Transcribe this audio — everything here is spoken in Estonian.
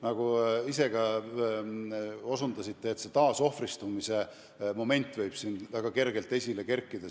Nagu te ise ka õigesti osutasite, taasohvristamise moment võib siin väga kergelt tekkida.